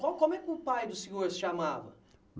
Como como é que o pai do senhor se chamava?